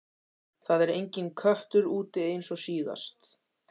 Það var enginn köttur úti eins og síðast.